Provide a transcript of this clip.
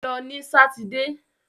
Lọ ní sátidé!